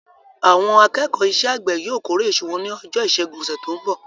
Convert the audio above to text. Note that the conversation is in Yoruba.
Àwọn akẹ́kọ̀ọ́ iṣẹ́-àgbẹ̀ yóò kórè iṣu wọn ní ọjọ́ ìṣẹ́gun ọ̀sẹ̀ tó ń bọ̀.